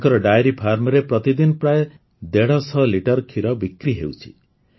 ତାଙ୍କର ଡେୟରି ଫାର୍ମରେ ପ୍ରତିଦିନ ପ୍ରାୟ ଦେଢ଼ ଶହ ଲିଟର ଖିର ବିକ୍ରି ହେଉଛି